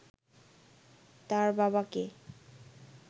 তাঁর বাবাকে